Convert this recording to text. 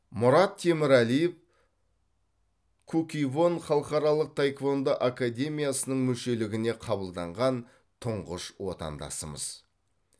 мұрат темірәлиев куккивон халықаралық таеквондо академиясының мүшелігіне қабылданған тұңғыш отандасымыз